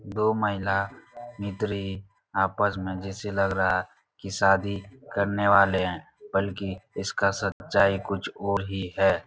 दो महिला मित्री आपस में जैसे लग रहा है कि शादी करने वाले हैं। बल्कि इसका सच्चाई कुछ और ही है।